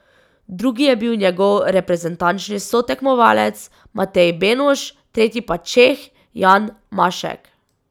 Drugi je bil njegov reprezentančni sotekmovalec Matej Benuš, tretji pa Čeh Jan Mašek.